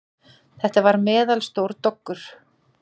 Þetta var meðalstór doggur.